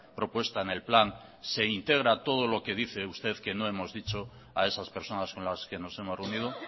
propuesta en el plan se integra todo lo que dice usted que no hemos dicho a esas personas con las que nos hemos reunido